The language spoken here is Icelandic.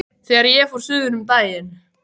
Þegar ég fór suður um daginn.